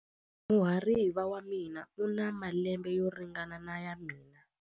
Muhariva wa mina u na malembe yo ringana na ya mina.